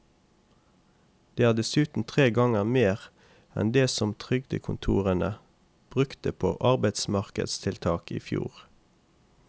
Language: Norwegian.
Det er dessuten tre ganger mer enn det som trygdekontorene brukte på arbeidsmarkedstiltak i fjor.